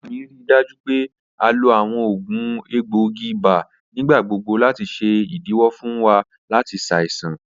Mama mi rii daju pe a lo awọn oògùn egboogi ibà nigbagbogbo lati ṣe idiwọ fun wa lati ṣaisan.